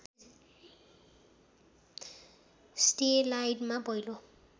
स्डेलाइडमा पहिलो